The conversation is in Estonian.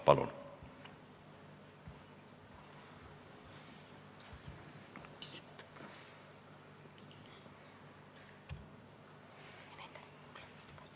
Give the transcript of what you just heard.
Palun!